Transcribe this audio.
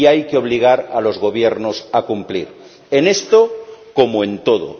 Y hay que obligar a los gobiernos a cumplir en esto, como en todo.